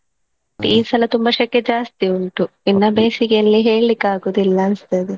ಈ ಸಲ ತುಂಬಾ ಸೆಕೆ ಜಾಸ್ತಿ ಉಂಟು ಇನ್ನ ಬೇಸಿಗೆಯಲ್ಲಿ ಹೇಳ್ಲಿಕ್ಕಾಗುದಿಲ್ಲಾ ಅನ್ಸ್ತದೆ.